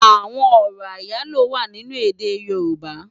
Awòn òrò áyáló wá ninú èdè yorùbá